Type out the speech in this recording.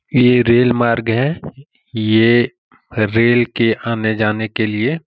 ये रेल मार्ग है ये रेल के आने जाने के लिए --